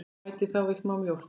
Bætið þá við smá mjólk.